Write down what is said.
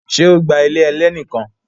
Ṣe o gba ilé ẹlẹ́ni kan